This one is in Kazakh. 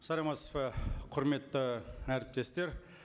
саламатсыз ба құрметті әріптестер